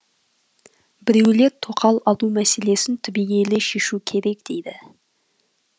біреулер тоқал алу мәселесін түбегейлі шешу керек дейді